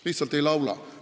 Lihtsalt ei laula!